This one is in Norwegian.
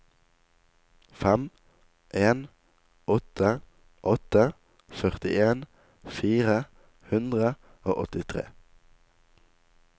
fem en åtte åtte førtien fire hundre og åttitre